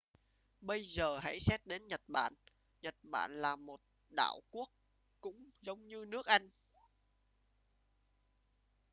bây giờ hãy xét đến nhật bản nhật bản là một đảo quốc cũng giống như nước anh